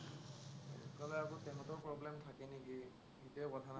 নহলে আকৌ সিহঁতৰ problem থাকে নেকি, সেইটোৱেই কথা।